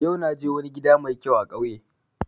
Yau na je wani gida mai kyau a kauye